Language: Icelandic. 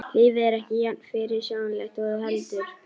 Lífið er ekki jafn fyrirsjáanlegt og þú heldur.